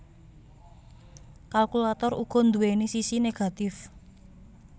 Kalkulator uga nduwèni sisi negatif